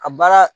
A baara